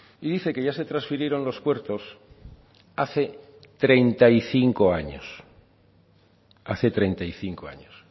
y dice que ya se transfirieron los puertos hace treinta y cinco años hace treinta y cinco años